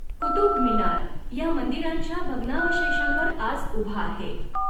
कुतुब मिनार ह्या मंदिरांच्या भग्नावशेषांवर आज ऊभा आहे